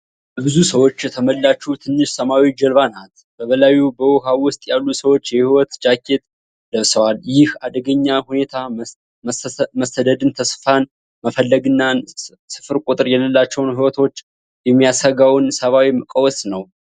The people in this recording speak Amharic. በብዙ ሰዎች የተሞላች ትንሽ ሰማያዊ ጀልባ ናት። በላዩና በውሃ ውስጥ ያሉ ሰዎች የህይወት ጃኬት ለብሰዋል። ይህ አደገኛ ሁኔታ መሰደድን፣ ተስፋን መፈለግንና ስፍር ቁጥር የሌላቸውን ሕይወቶች የሚያሰጋውን ሰብአዊ ቀውስ ነው።